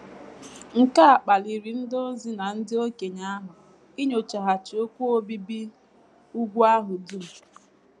Nke a kpaliri ndị ozi na ndị okenye ahụ inyochaghachi okwu obibi úgwù ahụ dum.